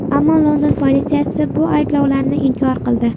Ammo London politsiyasi bu ayblovlarni inkor qildi .